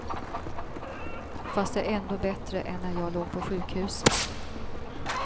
Fast det är ändå bättre än när jag låg på sjukhuset.